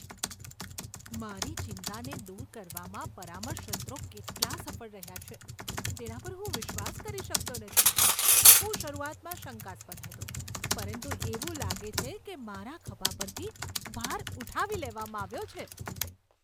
મારી ચિંતાને દૂર કરવામાં પરામર્શ સત્રો કેટલા સફળ રહ્યા છે તેના પર હું વિશ્વાસ કરી શકતો નથી. હું શરૂઆતમાં શંકાસ્પદ હતો, પરંતુ એવું લાગે છે કે મારા ખભા પરથી ભાર ઉઠાવી લેવામાં આવ્યો છે.